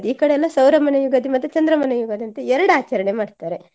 ಈ ಕಡೆ ಎಲ್ಲ ಸೌರಮಾನ ಯುಗಾದಿ ಮತ್ತೆ ಚಂದ್ರಮಾನ ಯುಗಾದಿ ಅಂತ ಎರಡ್ ಆಚರಣೆ ಮಾಡ್ತಾರೆ.